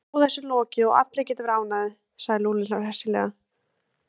Þá er þessu lokið og allir geta verið ánægðir, sagði Lúlli hressilega.